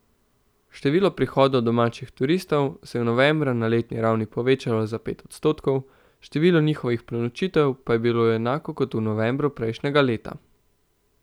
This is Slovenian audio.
Število prihodov domačih turistov se je novembra na letni ravni povečalo za pet odstotkov, število njihovih prenočitev pa je bilo enako kot v novembru prejšnjega leta.